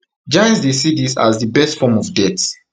jains dey see dis as di best form of death